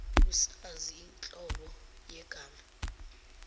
usazi inhlobo yegama